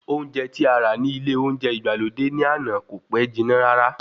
Oúnjẹ tí ará ní ilé olóúnjẹ ìgbàlódé ní àná kò pẹ́ jiná rárá